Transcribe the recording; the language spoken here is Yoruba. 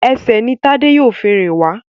Ẹsẹ̀ ní Tade yíò fún rìn wá